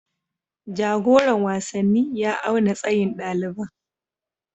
Jagoran wasanni ya auna tsayin ɗaliban